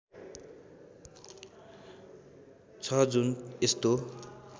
छ जुन यस्तो